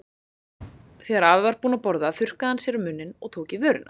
Þegar afi var búinn að borða þurrkaði hann sér um munninn og tók í vörina.